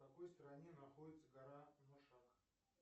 в какой стране находится гора ношак